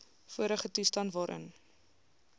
vorige toestand waarin